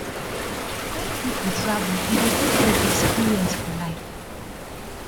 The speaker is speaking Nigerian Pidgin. when pipo travel e dey give dem experience for life